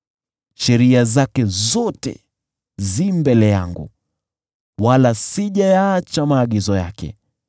Sheria zake zote zi mbele yangu, wala sijayaacha maagizo yake.